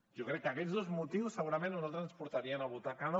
jo crec que aquests dos motius segurament a nosaltres ens portarien a votar que no